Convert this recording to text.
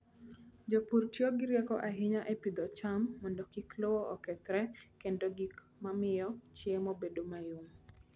Jopur tiyo gi rieko ahinya e pidho cham mondo kik lowo okethre kendo gik mamiyo chiemo bedo mayom.